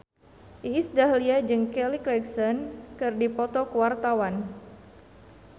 Iis Dahlia jeung Kelly Clarkson keur dipoto ku wartawan